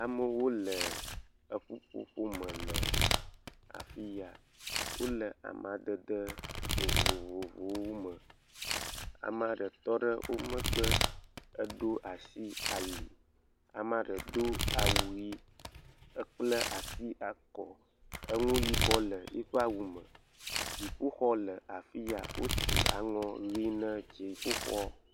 Amewo le eƒuƒoƒome le afi ya. Wole amadede vovovovowome. Ame aɖe tɔ ɖe wo megbe. Edo asi ali. Ame aɖe do awu yii. Ekpla asi ekɔ, enu yibɔ le yiƒe awume. Dziƒoxɔ le afi ya. Wosi aŋɔ ʋii na dziƒoxɔ.